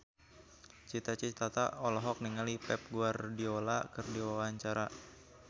Cita Citata olohok ningali Pep Guardiola keur diwawancara